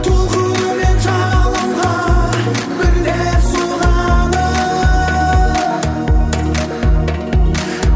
толқынымен жағалауға бірде соғады